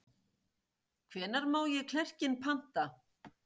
Hvenær má ég klerkinn panta?